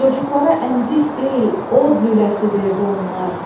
Cocuqlara əmzik deyil, od lüləsi verdi onlar.